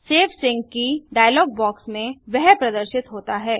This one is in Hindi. सेव सिंक की डायलॉग बॉक्स में वह प्रदर्शित होता है